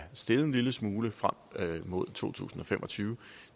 steget en lille smule frem mod to tusind og fem og tyve